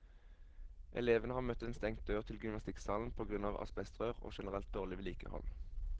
Elevene har møtt en stengt dør til gymnastikksalen på grunn av asbestrør og generelt dårlig vedlikehold.